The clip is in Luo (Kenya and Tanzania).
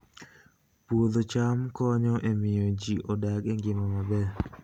Puodho cham konyo e miyo ji odag e ngima maber